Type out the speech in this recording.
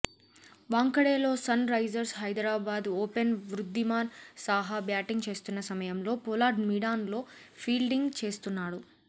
వాంఖడేలో Sunrisers Hyderabad opener Wriddhiman Saha batting చేస్తున్న సమయంలో Pollard mid on లో ఫీల్డింగ్ చేస్తున్నాడు